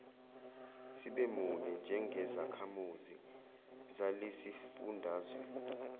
sibemunye njengezakhamizi zalesisifundazwe